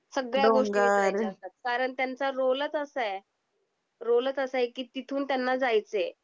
सगळ्या डोंगर गोष्टी वीसरायच्या असतात. कारण त्यांचा रोलेच असा आहे. रोलेच असा आहे की तिथून त्यांना जायचे आहे.